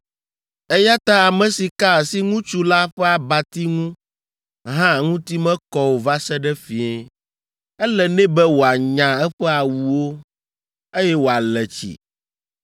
eya ta ame si ka asi ŋutsu la ƒe abati ŋu hã ŋuti mekɔ o va se ɖe fiẽ; ele nɛ be wòanya eƒe awuwo, eye wòale tsi.